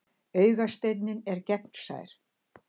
Augasteinninn er gegnsær.